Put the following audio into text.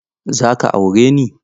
Za ka aure ni?